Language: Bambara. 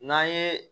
N'an ye